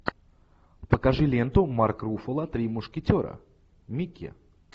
покажи ленту марк руффало три мушкетера микки